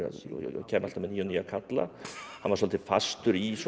kæmi alltaf með nýja og nýja karla hann var svolítið fastur í svona